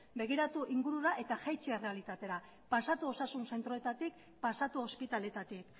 begiratu ingurura eta jaitsi errealitatera pasatu osasun zentroetatik pasatu ospitaletatik